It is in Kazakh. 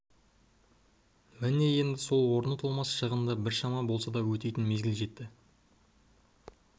міне енді сол орны толмас шығынды біршама болса да өтейтін мезгіл жетті